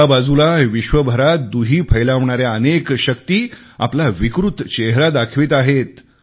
एका बाजूला विश्वभरात दुही फैलवणाऱ्या अनेक शक्ती आपला विकृत चेहरा दाखवित आहेत